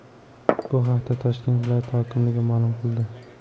Bu haqda Toshkent viloyati hokimligi ma’lum qildi .